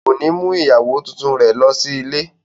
Ko ni mú ìyàwó tuntun rẹ lọ sí ilé.